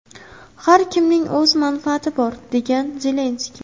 Har kimning o‘z manfaati bor”, degan Zelenskiy.